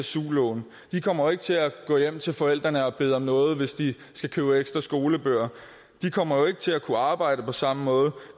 su lån de kommer ikke til at gå hjem til forældrene og bede om noget hvis de skal købe ekstra skolebøger de kommer ikke til at kunne arbejde på samme måde